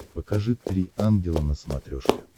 покажи три ангела на смотрешке